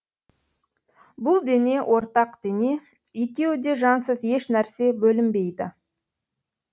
бұл дене ортақ дене екеуі де жансыз еш нәрсе бөлінбейді